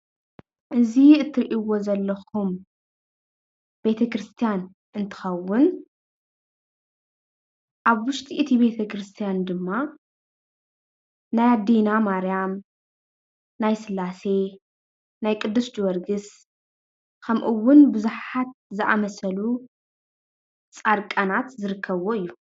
እዚ እትርእዎ ዘለኩም ቤተክርስትያን እንትከውን ኣብ ውሽጢ እቲ ቤተክርስትያን ድማ ናይ ኣዴና ማርያም፣ ናይ ስላሴ፣ ናይ ቁዱስ ጀወርግስ ከምኡ እውን ቡዙሓት ዝኣምሰሉ ፃድቃናት ዝርከብዎ እዩ፡፡